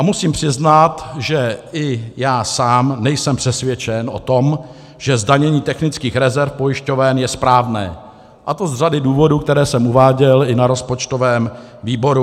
A musím přiznat, že i já sám nejsem přesvědčen o tom, že zdanění technických rezerv pojišťoven je správné, a to z řady důvodů, které jsem uváděl i na rozpočtovém výboru.